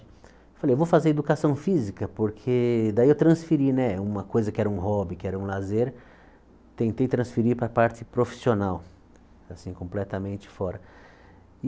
Falei, eu vou fazer educação física, porque daí eu transferi, né, uma coisa que era um hobby, que era um lazer, tentei transferir para a parte profissional, assim, completamente fora.